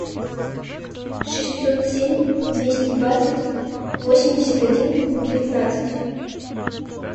шестьсот семь двести двадцать восемьдесят один девятнадцать